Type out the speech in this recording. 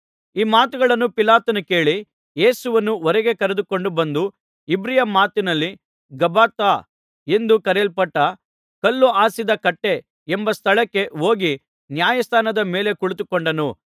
ಈ ಮಾತುಗಳನ್ನು ಪಿಲಾತನು ಕೇಳಿ ಯೇಸುವನ್ನು ಹೊರಗೆ ಕರೆದುಕೊಂಡು ಬಂದು ಇಬ್ರಿಯ ಮಾತಿನಲ್ಲಿ ಗಬ್ಬಥಾ ಎಂದು ಕರೆಯಲ್ಪಟ್ಟ ಕಲ್ಲು ಹಾಸಿದ ಕಟ್ಟೆ ಎಂಬ ಸ್ಥಳಕ್ಕೆ ಹೋಗಿ ನ್ಯಾಯಾಸನದ ಮೇಲೆ ಕುಳಿತುಕೊಂಡನು